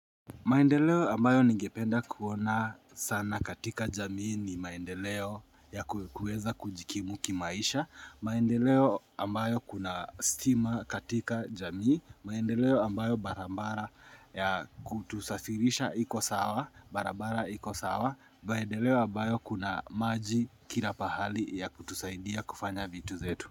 Maendeleo ambayo ningependa kuona sana katika jamii ni maendeleo ya kuweza kujikimu ki maisha, maendeleo ambayo kuna stima katika jamii, maendeleo ambayo barambara ya kutusafirisha iko sawa, barabara iko sawa, maendeleo ambayo kuna maji kila pahali ya kutusaidia kufanya vitu zetu.